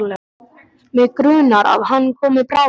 Mig grunar að hann komi bráðum.